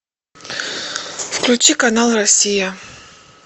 включи канал россия